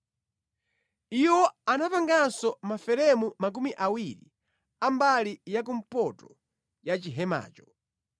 Iwo anapanganso maferemu makumi awiri a mbali yakumpoto ya chihemacho,